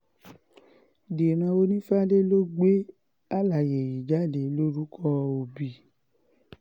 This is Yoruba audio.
dírán onífàdé ló gbé àlàyé yìí jáde lórúkọ òbí